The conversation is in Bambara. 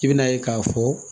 I bɛn'a ye k'a fɔ